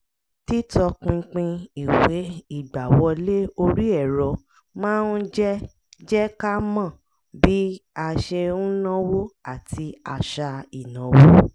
títọ́pinpin ìwé ìgbàwọlé orí ẹ̀rọ máa ń jẹ́ jẹ́ ká mọ bí a ṣe ń náwó àti àṣà ìnáwó